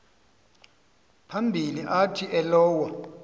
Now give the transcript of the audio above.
phambili athi elowo